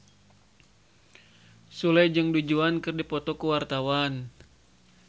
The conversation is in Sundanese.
Sule jeung Du Juan keur dipoto ku wartawan